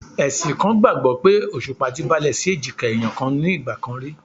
Ẹ̀sìn kan gbàgbó pé Òṣùpá ti balẹ̀ sí èjìká ẹ̀yàn kan ní ìgbà kan rí.